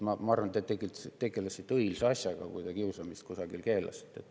Ma arvan, et te tegelesite õilsa asjaga, kui te kiusamist kusagil keelasite.